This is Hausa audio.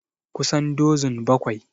Kusan dozun bakwai